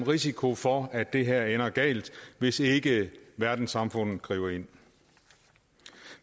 risiko for at det her ender galt hvis ikke verdenssamfundet griber ind